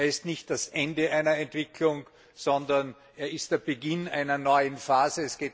Er ist nicht das Ende einer Entwicklung, sondern er ist der Beginn einer neuen Phase.